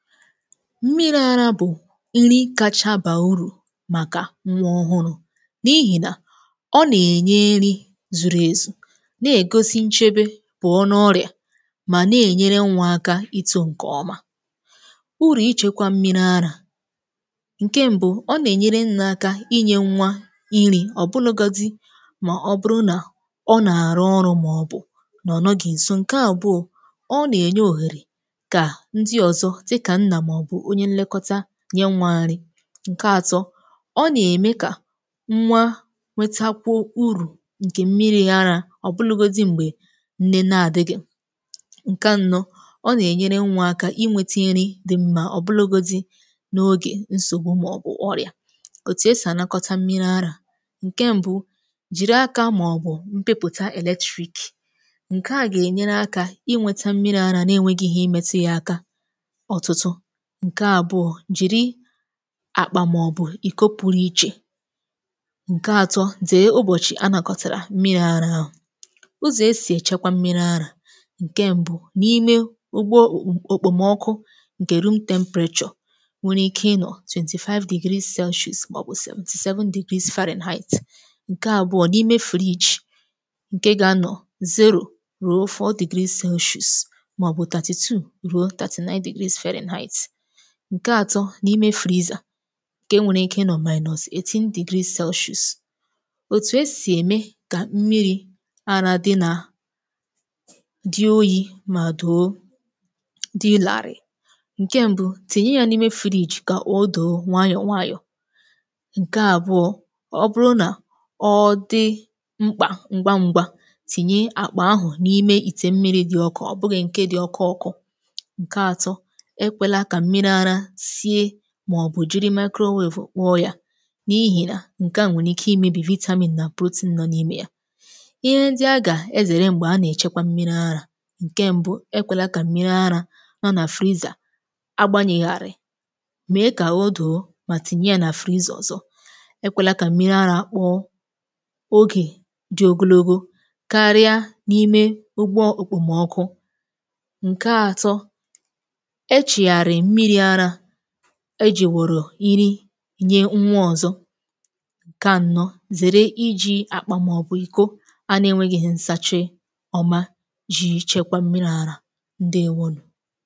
mmịrị̄ arā bụ̀ irī kacha ba urù màkà nwa ọhụrụ̄ n’ihi nà ọ nà-ènye nrī zuru ezù na-ègosi nchebe pụọ n’ọrịà mà na-ènyere nwā aka itu ǹkè ọma urù ichekwā mmịrị̄ arā ǹke mbū, ọ nà-ènyere nnē aka inyē nwa irī ọ̀ bụnụ̄godi mà ọ bụrụ nà ọ nà àrụ ọrụ màọbụ̀ nà ọ nọghị̀ ǹso, ǹke àbụọ ọ nà-ènye òhere kà ndị ọ̀zọ dịkà nnà màọbụ̀ onye nye nwa nri ǹke atọ ọ nà-ème kà nwa nweta kwuo urù ǹkè mmịrị̄ arā ọ bụlụgodi m̀gbè nne na-adịghị ǹke anọ ọ nà-ènyere nwa aka inwēte iri di mma ọ̀ bụlụgodi n’ogè nsògbu màọbụ ọrịà òtù esì ànakọta mmịrị̄ arā ǹke mbū jìri aka màọbụ mpịpụta electric ǹke a gà-ènyere aka inweta mmịrị̄ ara na-enweghi ihe metu ya aka ọ̀tụtụ ǹke àbụọ jìri àkpà màọbụ̀ ị̀kọ pụrụ ichè ǹke atọ dee ụbọ̀chị anàkọtàrà mmịrị̄ ara ahụ̀ ụzọ̀ esì èchekwa mmịrị̄ ara ǹke mbū n’ime ugbo òkpo m ọkụ ǹke room temperature were ike ịnọ̀ twenty five degree Celsius màọbụ̀ seventy seven Fahrenheit ǹke àbụọ n’ime fridge ǹke ga-anọ̀ zero ruo four degree Celsius màọbụ thirty ruo thirty nine degree Fahrenheit ǹke atọ n’ime freezer ǹke nwere ike ịnọ̀ minus eighteen degree Celsius òtù esì ème kà mmịrị̄ ara di nà di oyī mà do dilàrị̀ ǹke mbū, tinye ya n’ime fridge kà odò nwayò nwayò ǹke àbụọ ọ bụrụ nà ọ di mkpà ngwangwa tìnye àkpà ahụ̀ n’ime ìtè mmịrị̄ di ọkụ ọ̀ bụ̀ghị ǹke di ọkọ ọkụ̄ ǹke atọ ekwēla kà mmịrị̄ ara sie màọbụ̀ jiri microwave kpụọ ya n’ihi nà ǹke a nwere ikē imēbì vitamin nà protein nọ n’ime ya ihe ndi a gà-èzèrè m̀gbè a nà-èchekwa mmịrị̄ ara ǹke mbu, ekwēla kà mmịrị̄ ara nọ nà freezer agbānyèghàrị̀ mee kà o doo mà tìnye ya nà freezer ọ̀zọ ekwēla kà mmịrị̄ arā kpọ ogè di ogologo karịa n’ime ụgbọ òkpòmọkụ ǹke atọ echìghàrì mmịrị̄ arā ejì wòrò iri nye nwa ọ̀zọ ǹke ànọ zère iji àkpà màọbụ ị̀kọ a na-enwēghihu nsachị ọma ji chekwa mmịrị̄ arā ǹdeewónù